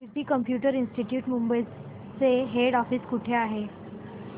कीर्ती computer institute Mumbai चे head office कुठे आहे